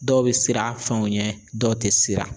Dɔw bɛ siran fɛnw ɲɛ dɔw tɛ siran.